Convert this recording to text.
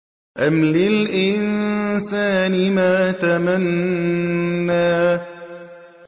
أَمْ لِلْإِنسَانِ مَا تَمَنَّىٰ